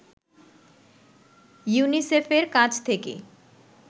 ইউনিসেফের কাছ থেকে